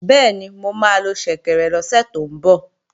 Bẹ́ẹ̀ni, mo máa lo ṣẹ̀kẹ̀rẹ̀ lọ́sẹ̀ tó ń bọ̀